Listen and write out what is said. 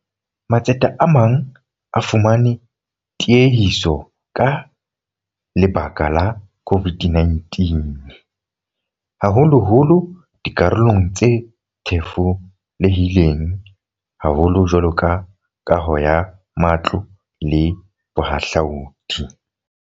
Matsete a mang a fumane tiehiso ka lebaka la COVID-19, haholoholo dikarolong tse thefulehileng haholo jwalo ka kaho ya matlo le bohahlaodi.